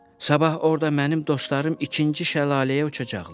Sabah orda mənim dostlarım ikinci şəlaləyə uçacaqlar.